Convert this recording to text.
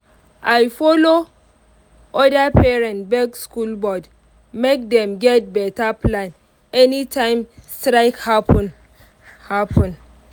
i follow other parents beg school board make dem get better plan anytime strike happen. happen.